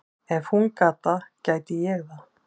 Ef hún gat það, gæti ég það.